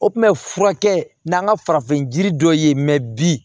O tun bɛ furakɛ n'an ka farafin jiri dɔ ye mɛ bi